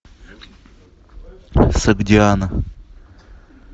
согдиана